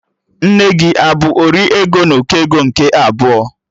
Nne gị abụ 'ori ego n'ụkọ ego nke abụọ'?